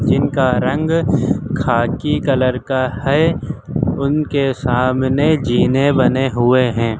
जिनका रंग खाकी कलर का है उनके सामने जीने बने हुए हैं।